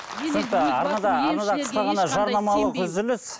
арнада қысқа ғана жарнамалық үзіліс